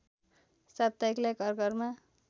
साप्ताहिकलाई घर घरमा